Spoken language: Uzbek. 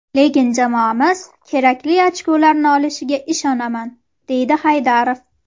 Lekin jamoamiz kerakli ochkolarni olishiga ishonaman”, deydi Haydarov.